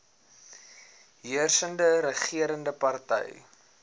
heersende regerende party